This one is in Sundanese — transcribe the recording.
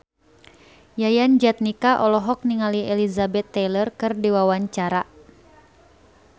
Yayan Jatnika olohok ningali Elizabeth Taylor keur diwawancara